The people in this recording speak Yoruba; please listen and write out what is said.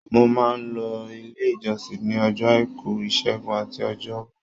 Mo máa n lọ ilé ìjọsìn ní ọjọ́ àìkú, ìṣẹgun àti ọjọ́ bọ.